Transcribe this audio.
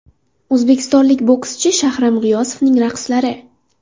O‘zbekistonlik bokschi Shahram G‘iyosovning raqslari.